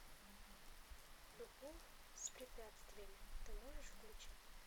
любовь с препятствиями ты можешь включить